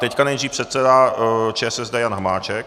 Teď nejdřív předseda ČSSD Jan Hamáček.